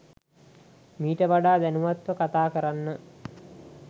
මීට වඩා දැනුවත්ව කතා කරන්න.